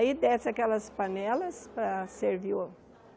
Aí desce aquelas panelas para servir o